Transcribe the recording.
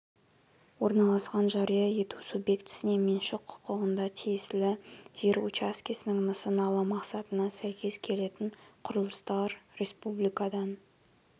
орналасқан жария ету субъектісіне меншік құқығында тиесілі жер учаскесінің нысаналы мақсатына сәйкес келетін құрылыстар республикадан